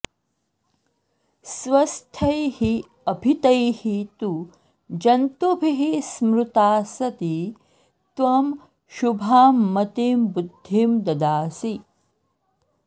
स्वस्थैः अभीतैः तु जन्तुभिः स्मृता सती त्वं शुभां मतिं बुद्धिं ददासि